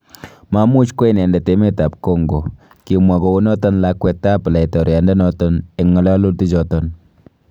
" Mamuch kwo inendet emetab Congo. "Kimwaa gounoton lakwet ab laitoriandonoton en ngololutichoton.